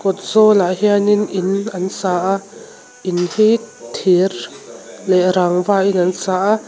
kawt zawl ah hianin in an sa a in hi thir leh rangva hi an sa a.